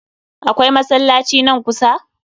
Akwai masallaci nan kusa?